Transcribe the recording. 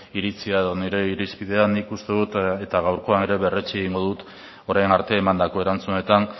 iritzia edo nire irizpidea nik uste dut eta gaurkoan ere berretsi egingo dut orain arte emandako erantzunetan